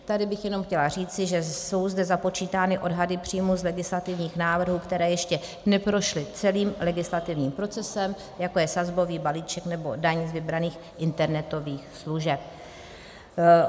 Tady bych jenom chtěla říci, že jsou zde započítány odhady příjmů z legislativních návrhů, které ještě neprošly celým legislativním procesem, jako je sazbový balíček nebo daň z vybraných internetových služeb.